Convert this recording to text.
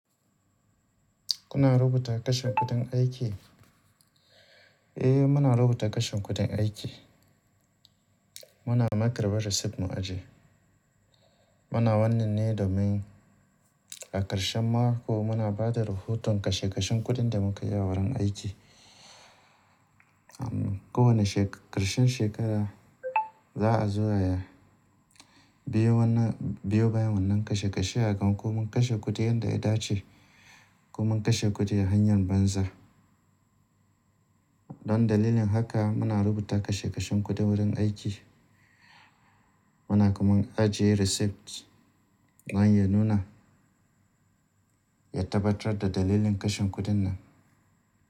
Kuna rubuta kashe kuɗin aiki? Eh, muna rubuta kashe kuɗin aiki. Muna ma karɓar receipt mu ajiye. Muna wannan ne domin a ƙarshen mako muna ba da rahoton kashe kashen kuɗin da muka yi a wurin aiki. A kowane ƙarshen shekara za a zo'a bi biyo bayan wannan kashe kashe a gan ko mun kashe kuɗi yanda ya dace ko mun kashe kuɗi a hanyan banza. Don dalilin haka muna rubuta kashe kashen kuɗi wurin aiki. Muna kuma ajiye receipt dan ya nuna, ya tabbatar da dalilin kashe kuɗin nan.